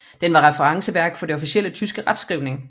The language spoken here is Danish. Den var referenceværk for den officielle tyske retskrivning